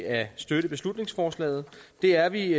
at støtte beslutningsforslaget det er vi